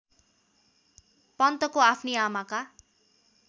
पन्तको आफ्नी आमाका